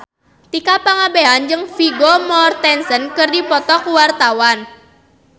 Tika Pangabean jeung Vigo Mortensen keur dipoto ku wartawan